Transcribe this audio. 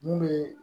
Mun bɛ